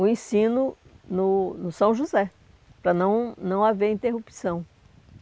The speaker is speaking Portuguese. o ensino no no São José, para não não haver interrupção.